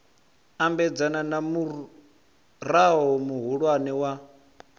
ambedzana na murao muhulwane wa